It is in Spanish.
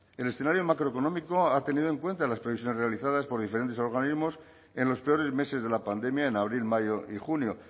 el escenario macroeconómico ha tenido en cuenta las previsiones realizadas por diferentes organismos en los peores meses de la pandemia en abril mayo y junio